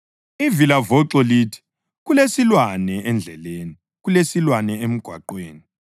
Ivilavoxo lithi, “Kulesilwane endleleni, kulesilwane emigwaqweni!”